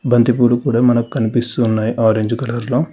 బంతిపూలు కూడా మనకు కనిపిస్తున్నాయి ఆరెంజ్ కలర్లో .